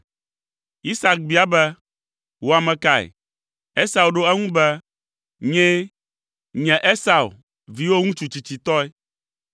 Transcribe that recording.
Isak bia be, “Wò ame kae?” Esau ɖo eŋu be, “Nyee! Nye Esau, viwò ŋutsu tsitsitɔe!”